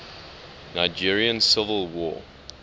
nigerian civil war